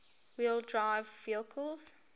wheel drive vehicles